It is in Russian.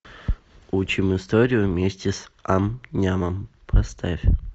учим историю вместе с ам нямом поставь